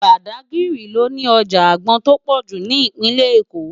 Bádágiri lò ni òjá ágbòn tó pòjú ni Ipinlè-Ékó